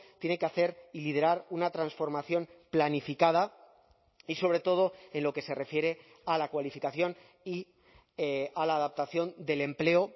tiene que hacer y liderar una transformación planificada y sobre todo en lo que se refiere a la cualificación y a la adaptación del empleo